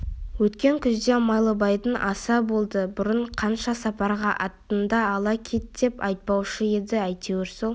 өткен күзде майлыбайдың асы болды бұрын қанша сапарға аттанды ала кет деп айтпаушы еді әйтеуір сол